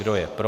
Kdo je pro?